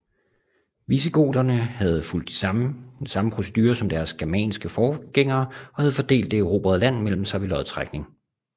Visigoterne havde fulgt samme procedure som deres germanske forgængere og havde fordelt det erobrede land mellem sig ved lodtrækning